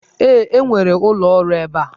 Ee, e nwere ụlọ ọrụ ebe a.